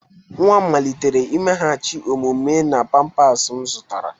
Nwa m malitere imeghachi omume na pampers m zụtara.